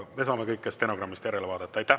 Me saame kõike stenogrammist järele vaadata.